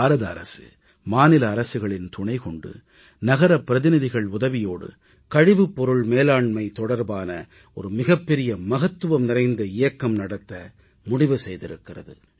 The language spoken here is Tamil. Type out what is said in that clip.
பாரத அரசு மாநில அரசுகளின் துணை கொண்டு நகரப் பிரதிநிதிகள் உதவியோடு கழிவுப்பொருள் மேலாண்மை தொடர்பான ஒரு மிகப்பெரிய மகத்துவம் நிறைந்த இயக்கம் நடத்த முடிவு செய்திருக்கிறது